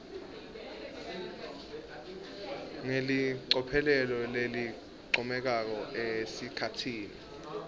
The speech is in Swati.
ngelicophelo lelincomekako esikhatsini